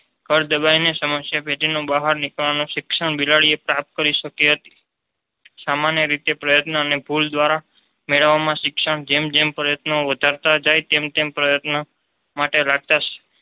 કળ દબાઈ ને સમસ્યા પેટી ને બહાર નીકળવા નું શિક્ષણ બિલાડી એ પ્રાપ્ત કરી શકી હતી. સામાન્ય રીતે પ્રયત્નને ભૂલ દ્વારા મેળવવામાં શિક્ષણ જેમ જેમ પ્રયત્નો વધારતા જાય તેમ તેમ પ્રયત્ન માટે રાખતા